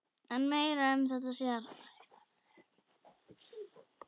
En meira um þetta síðar.